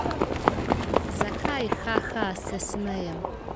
Zakaj, haha, se smejem?